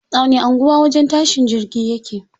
A wani anguwa wajen tashin jirgi yake?